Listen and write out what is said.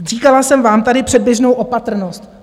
Říkala jsem vám tady předběžnou opatrnost.